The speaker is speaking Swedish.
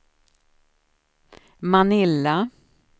Manila